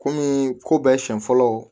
Kɔmi ko bɛɛ sen fɔlɔ